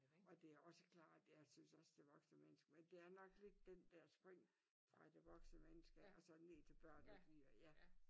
Og det også klart jeg synes også det voksne menneske men det er nok lidt den der spring fra det voksne menneske og så ned til børn at vi er ja